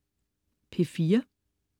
P4: